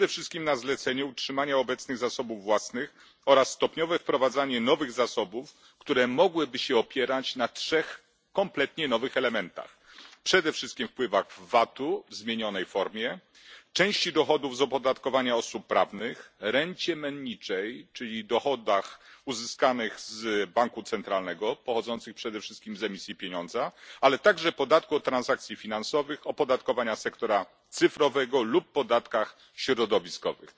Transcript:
Przede wszystkim na zalecenie utrzymania obecnych zasobów własnych oraz stopniowe wprowadzanie nowych zasobów, które mogłyby się opierać na trzech kompletnie nowych elementach przede wszystkim na wpływach z VAT u w zmienionej formie, części dochodów z opodatkowania osób prawnych, rencie menniczej, czyli dochodach uzyskanych z banku centralnego pochodzących przede wszystkim z emisji pieniądza, ale także na podatku od transakcji finansowych, opodatkowaniu sektora cyfrowego lub podatkach środowiskowych.